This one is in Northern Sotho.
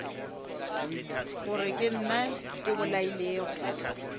gore ke nna ke bolailego